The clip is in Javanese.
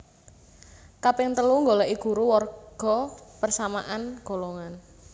Kaping telu nggoleki guru warga persamaan golongan